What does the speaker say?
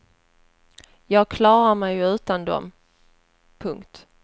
Jag klarar mig ju utan dem. punkt